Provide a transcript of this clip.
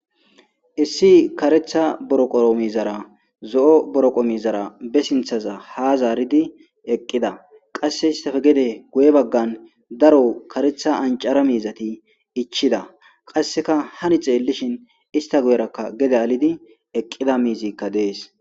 issi karetha boroqoro mizara zo7o boroqo mizara be sinthaza ha zaaridi eqqida qasse istafe gede guye baggan daro karetha ancara miizati ichida qasseka hani xeellishin ista guyerakka gede alidi eqqida miizikka dees